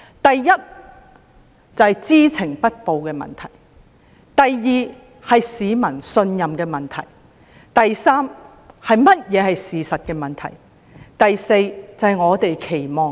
第一，是知情不報的問題；第二，是市民信任的問題；第三，是事實如何的問題；第四，是我們的期望。